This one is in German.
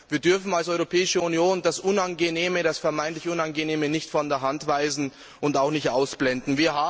Wir dürfen als Europäische Union das vermeintlich Unangenehme nicht von der Hand weisen und auch nicht ausblenden.